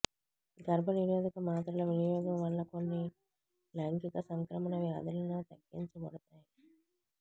గర్భనిరోధక మాత్రల వినియోగం వల్ల కొన్ని లైంగిక సంక్రమణ వ్యాధులను తగ్గించబడుతాయి